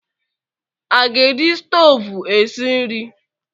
A ga-eji stoovu esi nri?